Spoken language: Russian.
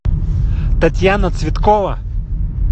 татьяна цветкова